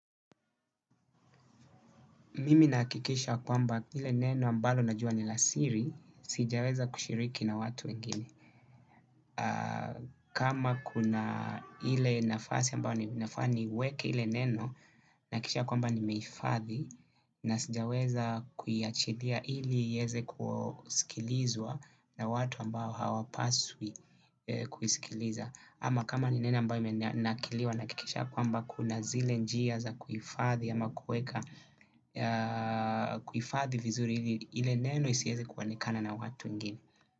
Mimi nahakikisha kwamba ile neno ambalo najua ni la siri sijaweza kushiriki na watu wengine. Kama kuna ile nafasi ambayo ninafaa ninafaa niweke ile neno nihakikisha ya kwamba nimehifadhi na sijaweza kuyaachilia ili iweze kusikilizwa na watu ambao hawapaswi kusikiliza. Ama kama ni nene ambayo imenakiliwa na hakikisha kwamba kuna zile njia za kuhifadhi. Ama kuweka kuhifadhi vizuri ile neno isiwezi kuonekana na watu wengini.